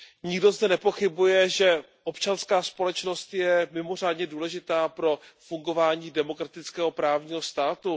Nikdo zde nepochybuje, že občanská společnost je mimořádně důležitá pro fungování demokratického právního státu.